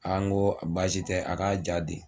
An ko baasi tɛ a k'a ja di